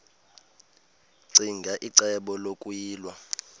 ccinge icebo lokuyilwa